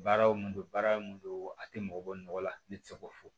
Baara wo baara mun do a tɛ mɔgɔ bɔ nɔgɔ la ne tɛ se k'o fɔ